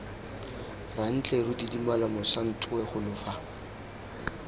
rantleru didimala mošantowe golo fa